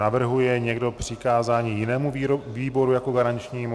Navrhuje někdo přikázání jinému výboru jako garančnímu?